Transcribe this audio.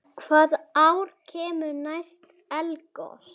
Hvaða ár kemur næst eldgos?